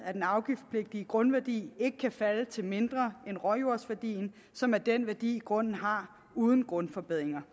at den afgiftspligtige grundværdi ikke kan falde til mindre end råjordsværdien som er den værdi grunden har uden grundforbedringer